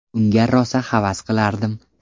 Unga rosa havas qilardim.